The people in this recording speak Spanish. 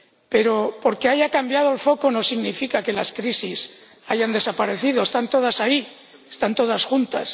Pero que haya cambiado el foco no significa que las crisis hayan desaparecido están todas ahí, están todas juntas.